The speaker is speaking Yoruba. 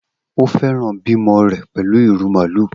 O fẹran bimo rẹ pẹlu iru maalu.